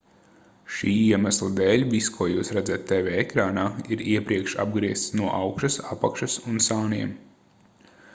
šī iemesla dēļ viss ko jūs redzat tv ekrānā ir iepriekš apgriezts no augšas apakšas un sāniem